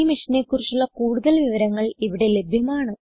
ഈ മിഷനെ കുറിച്ചുള്ള കുടുതൽ വിവരങ്ങൾ ഇവിടെ ലഭ്യമാണ്